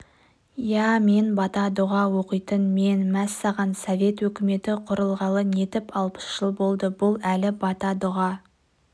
иә мен бата-дұға оқитын мен мәссаған совет өкіметі құрылғалы нетіп алпыс жыл болды бұл әлі бата-дұға